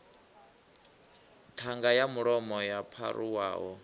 ṱhanga ya mulomo yo pharuwaho